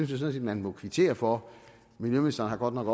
sådan set man må kvittere for miljøministeren har godt nok